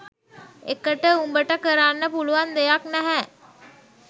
එකට උඹට කරන්න පුලුවන් දෙයක් නැහැ